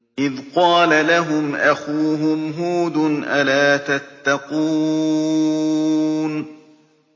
إِذْ قَالَ لَهُمْ أَخُوهُمْ هُودٌ أَلَا تَتَّقُونَ